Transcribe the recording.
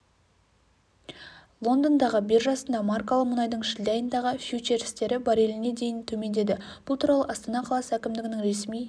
лондондағы биржасында маркалы мұнайдың шілде айындағы фьючерстері барреліне дейін төмендеді бұл туралы астана қаласы әкімдігінің ресми